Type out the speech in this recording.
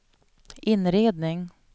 inredning